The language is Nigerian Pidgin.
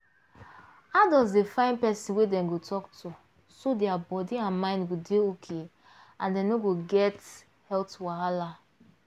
adults dey find person wey dem go talk to so their body and mind go dey okay and dem no go get health wahala